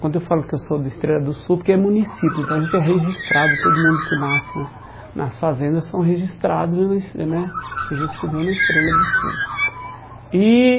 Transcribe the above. Quando eu falo que eu sou da Estrela do Sul, porque é município, então a gente é registrado, todo mundo que nasce na nas fazendas são registrados, né registro civil na Estrela do Sul. E